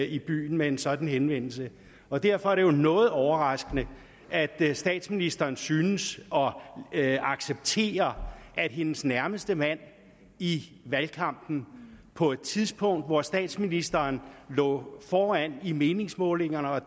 i byen med en sådan henvendelse og derfor er det jo noget overraskende at statsministeren synes at acceptere at hendes nærmeste mand i valgkampen på et tidspunkt hvor statsministeren lå foran i meningsmålingerne og